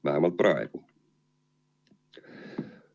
Vähemalt praegu.